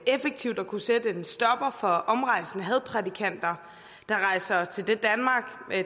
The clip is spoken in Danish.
effektivt at kunne sætte en stopper for omrejsende hadprædikanter der rejser